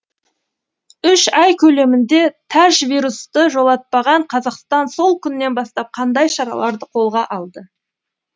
үш ай көлемінде тәжвирусты жолатпаған қазақстан сол күннен бастап қандай шараларды қолға алды